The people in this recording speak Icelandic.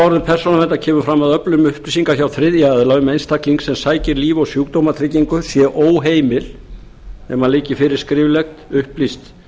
niðurstöðuorðum persónuverndar kemur fram að öflun upplýsinga hjá þriðja aðila um einstakling sem sækir líf og sjúkdómatryggingu sé óheimil nema liggi fyrir skriflegt upplýst